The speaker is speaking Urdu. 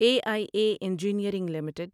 a I A engineering limited